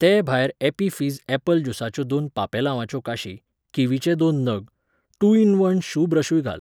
ते भायर Appy Fizz apple ज्युसाच्यो दोन पांपेलावांच्यो काशी, किवीचे दोन नग, टू इन वन शू ब्रशूय घाल.